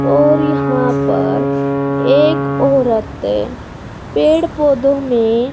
और यहां पर एक औरत पेड़ पौधों में--